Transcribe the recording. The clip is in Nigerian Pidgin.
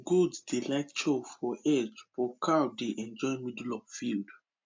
goat dey like chop for edge but cow dey enjoy middle of the field